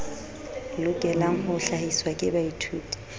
lokelang ho hlahiswa ke baithuti